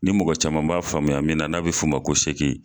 Ni mɔgɔ caman b'a faamuya min na n'a bɛ f'o ma ko sɛki.